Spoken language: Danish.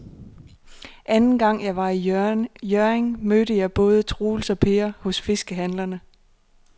Anden gang jeg var i Hjørring, mødte jeg både Troels og Per hos fiskehandlerne.